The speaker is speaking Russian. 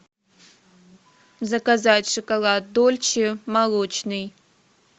заказать шоколад дольче молочный